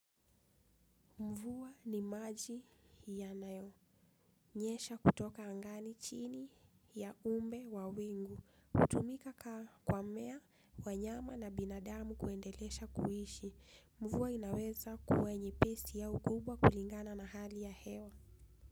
Mvua ni maji ya nayo. Nyesha kutoka angani chini ya umbe wa wingu. Hutumika kwa mmea, wanyama na binadamu kuendelesha kuishi. Mvua inaweza kuwanye pesi au kubwa kulingana na hali ya hewa.